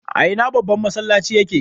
A ina babban masallacin ya ke?